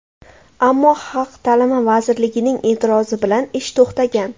Ammo Xalq ta’limi vazirligining e’tirozi bilan ish to‘xtagan.